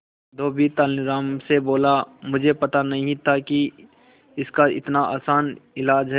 धोबी तेनालीराम से बोला मुझे पता नहीं था कि इसका इतना आसान इलाज है